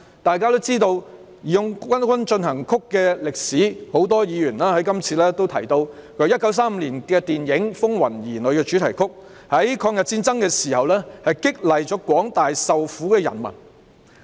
大家都知道"義勇軍進行曲"的歷史，很多議員在這次辯論中也提到，它是1935年的電影"風雲兒女"的主題曲，在抗日戰爭時期激勵了廣大受苦的人民。